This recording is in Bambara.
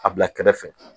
A bila kɛrɛfɛ